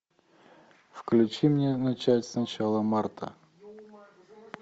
включи мне начать сначала марта